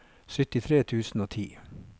syttitre tusen og ti